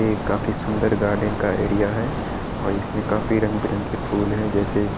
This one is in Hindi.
ये काफी सुंदर गार्डन का एरिया है और इसमें काफी रंग-बिरंगे फूल हैं जैसे के --